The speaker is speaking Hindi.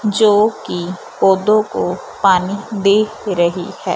जो कि पौधों को पानी दे रही है।